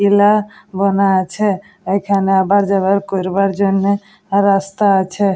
কেলা বানা আছে এইখানে আওয়ার যাওয়ার করবার জন্য রাস্তা আছে।